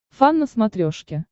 фан на смотрешке